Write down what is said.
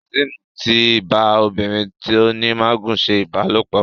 Kazeem tí bá obìrin tó ní magun ṣe ìbálòpọ̀.